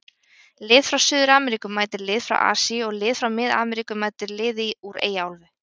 Lið frá Suður-Ameríku mætir liði frá Asíu og lið frá mið-Ameríku mætir liði úr Eyjaálfu.